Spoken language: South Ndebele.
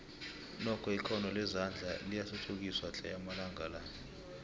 nokho ikhono lezandla liyathuthukiswa tle amalanga la